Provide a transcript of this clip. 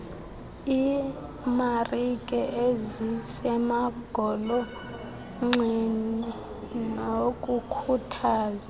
iimarike ezisemagolonxeni nokukhuthaza